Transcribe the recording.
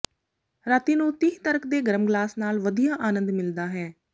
ਰਾਤੀ ਨੂੰ ਤਿਹ ਤਰਕ ਦੇ ਗਰਮ ਗਲਾਸ ਨਾਲ ਵਧੀਆ ਆਨੰਦ ਮਿਲਦਾ ਹੈ